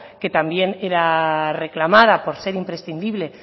que también era reclamada por ser imprescindible